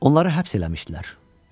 Onları həbs eləmişdilər.